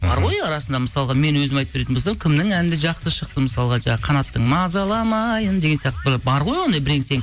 бар ғой арасында мысалға мен өзім айтып беретін болсам кімнің әні де жақсы шықты мысалға жаңағы қанаттың мазаламайын деген сияқты бар ғой бірең сең